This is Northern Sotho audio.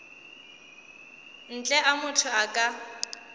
ntle a motho a ka